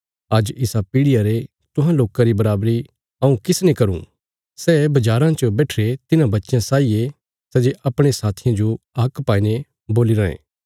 आज इसा पीढ़ियां रे तुहां लोकां री बराबरी हऊँ किसने करूँ सै बज़ाराँ च बैठिरे तिन्हां बच्चयां साई ये सै जे अपणे साथियां जो हाक पाईने बोल्ली रायें